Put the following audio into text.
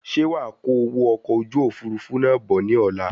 Ṣe wàá kó owó okò ojú òfurufú náà bọ̀ ní ọ̀la?